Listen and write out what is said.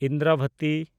Indravati